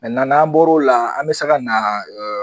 n'an bɔr'o la an bi sa ka na